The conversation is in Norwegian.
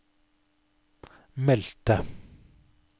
meldte